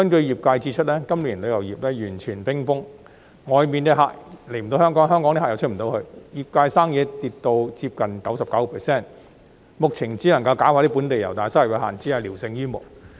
業界指出，今年旅遊業完全冰封，外面的旅客無法來港，香港旅客亦無法外出，業界生意下跌接近 99%， 目前只能搞本地遊，但收入有限，只是聊勝於無。